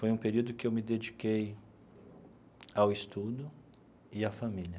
Foi um período que eu me dediquei ao estudo e à família.